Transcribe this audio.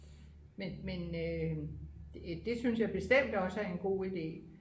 men det synes jeg bestemt også er en god ide